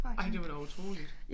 Ej det var da utroligt